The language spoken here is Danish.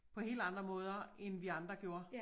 På helt andre måder end vi andre gjorde